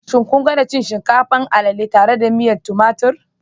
Shin kun gwada cin shinkafa, alele tare da miyan tumatir?